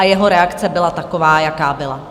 A jeho reakce byla taková, jaká byla.